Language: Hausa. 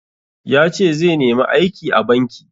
Yace zai nemi aiki a banki.